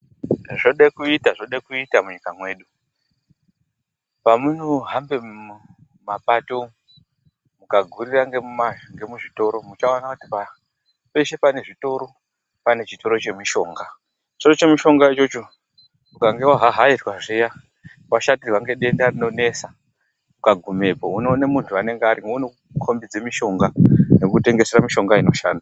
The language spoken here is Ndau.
Zvode kuita, zvode kuita munyika mwedu. Pemunohamba mumapato mukagurira ngemuzvitoro, muchaona kuti peshe pane zvitoro, pane chitoro chemushonga. Chitoro chemushonga ichocho, ukange wahahairwa zviya, washatirwe ngedenda rinonesa, ukagumemwo unoona munthu urimwo, unokukhombidze mishonga, nekukutengesera mishonga inoshanda.